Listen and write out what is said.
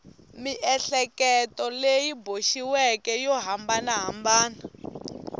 miehleketo leyi boxiweke yo hambanahambana